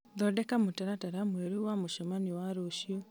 thondeka mũtaratara mwerũ wa mũcemanio wa rũciũ